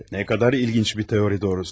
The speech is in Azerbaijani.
Nə qədər ilginc bir teoriya doğrusu.